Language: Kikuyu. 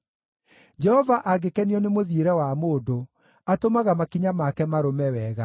Jehova angĩkenio nĩ mũthiĩre wa mũndũ, atũmaga makinya make marũme wega;